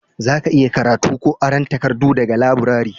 za ka iya karatu ko aron takardu daga laburare